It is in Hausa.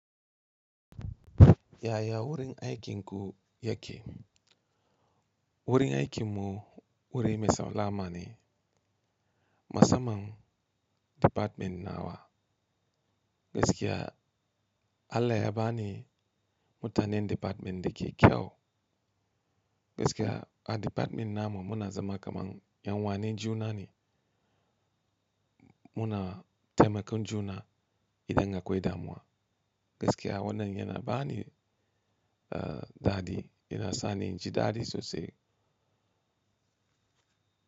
Yaya wurin aikin ku yake. Wurin aikinmu wuri me saula mane masamnan department nawa. Gaskiya Allah ya bani mutanen department da ke kyau. Gaskiya a department namu muna zama kaman yan uwane juna ne muna taimakon juna idan a kwai damuwa. Gaskiya wannan yana ba ni, uh, dadi yana sani inji dadi sosai.